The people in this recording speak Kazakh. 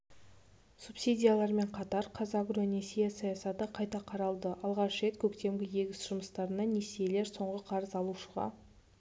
субсидиялармен қатар қазагро несие саясаты қайта қаралды алғаш рет көктемгі егіс жұмыстарына несиелер соңғы қарыз алушыға